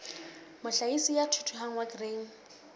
mohlahisi ya thuthuhang wa grain